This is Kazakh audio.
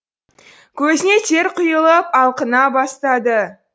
көзіне тер құйылып алқына бастады